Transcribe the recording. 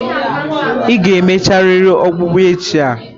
Ị ga emecharịrị ọkpụkpụ a echi.